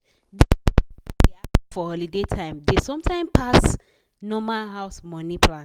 the spending wey dey happen for holiday time dey sometimes pass normal house money plan